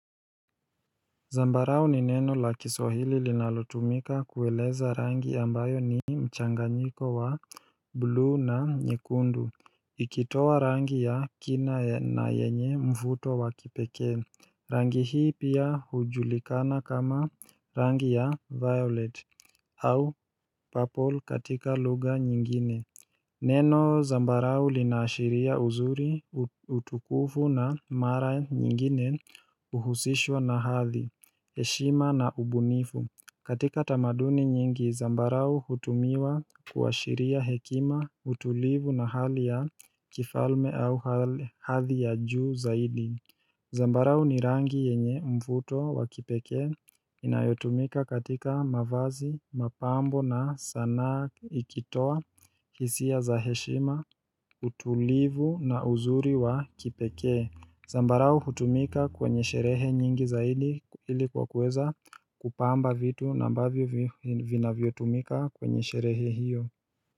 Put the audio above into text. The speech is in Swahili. Zambarao ni neno la kiswahili linalutumika kueleza rangi ambayo ni mchanganyiko wa blue na nyekundu. Ikitowa rangi ya kina, ya na yenye mvuto wakipeke. Rangi hii pia hujulikana kama rangi ya violet. Au purple katika lugha nyingine. Neno zambarao linaashiria uzuri, uutukufu na mara nyingine uhusishwa na hathi. Heshima na ubunifu, katika tamaduni nyingi, zambarau hutumiwa kuwashiria hekima, utulivu na hali ya kifalme au hadhi ya juu zaidi. Zambarau ni rangi yenye mvuto wa kipeke. Inayotumika katika mavazi, mapambo, na sanaa ikitoa hisia za heshima, utulivu na uzuri wa kipeke. Zambarau hutumika kwenye sherehe nyingi zaidi, ilikuwa kueza kupamba vitu nambavyo vinavyo tumika kwenye sherehe hiyo.